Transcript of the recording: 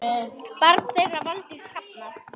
Barn þeirra Valdís Hrafna.